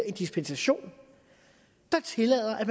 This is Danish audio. en dispensation der tillader at